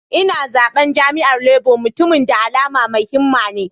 Ina zaben jam'iyyar Labour, mutumin da alama mai himma ne.